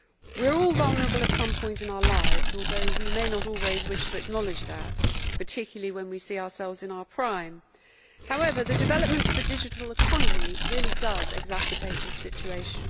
We are all vulnerable at some point in our lives, although we may not always wish to acknowledge that, particularly when we see ourselves in our prime. However, the development of the digital economy really does exacerbate this situation.